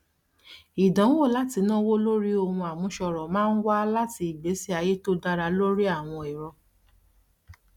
ìdanwo láti náwó lórí ohun àmúṣọrọ máa ń wá láti ìgbésí ayé tó dára lórí àwọn ẹrọ